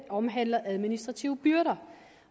omhandler administrative byrder